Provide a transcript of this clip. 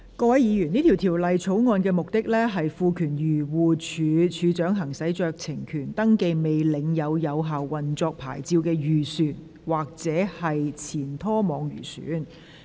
各位議員，這項條例草案的目的是賦權漁護署署長行使酌情權，登記未領有有效運作牌照的漁船或前拖網漁船。